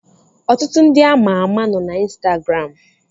Ọtụtụ ndị ama ama nọ na Instagram